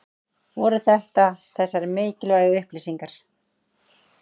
Voru þetta þessar mikilvægu upplýsingar?